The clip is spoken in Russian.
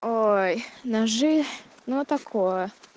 ой ножи ну такое